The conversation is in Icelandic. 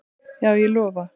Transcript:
Já, ég lofa